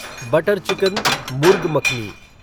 butter chicken murgh makhani